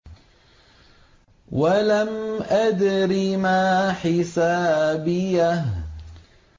وَلَمْ أَدْرِ مَا حِسَابِيَهْ